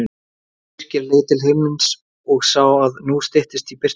Birkir leit til himins og sá að nú styttist í birtingu.